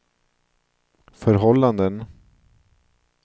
förhållanden